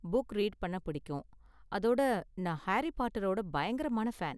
Book read பண்ண பிடிக்கும், அதோட நான் ஹாரி பாட்டரோட பயங்கரமான ஃபேன்.